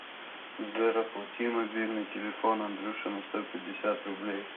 сбер оплати мобильный телефон андрюше на сто пятьдесят рублей